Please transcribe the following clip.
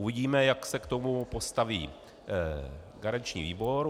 Uvidíme, jak se k tomu postaví garanční výbor.